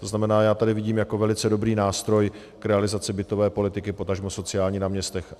To znamená, já tady vidím jako velice dobrý nástroj k realizaci bytové politiky, potažmo sociální na městech.